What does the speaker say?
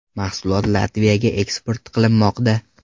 Mahsulot Latviyaga eksport qilinmoqda.